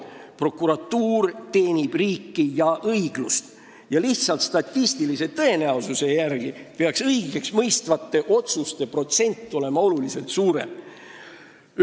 Prokuratuur teenib riiki ja õiglust ning juba statistilise tõenäosuse järgi peaks õigeksmõistvate otsuste protsent olema oluliselt suurem.